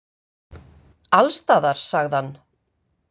Alls staðar, sagði hann.